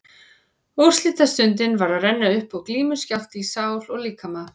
Úrslitastundin var að renna upp og glímuskjálfti í sál og líkama.